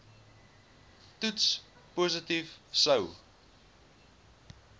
toets positief sou